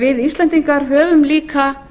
við íslendingar höfum líka